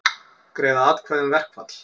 Greiða atkvæði um verkfall